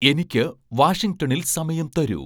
എനിക്ക് വാഷിംഗ്ടണിൽ സമയം തരൂ